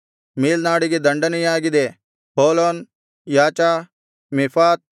ಮೇಲ್ನಾಡಿಗೆ ದಂಡನೆಯಾಗಿದೆ Holon Jahzah Mephaath